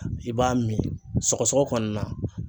I b'a min sɔgɔsɔgɔ kɔni na